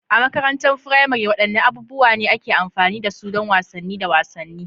A makarantar firamare, wadanne abubuwa ne ake amfani da su don wasanni da wasanni?